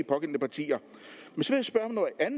pågældende partier